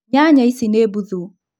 Nyanya Ici nĩ mbuthu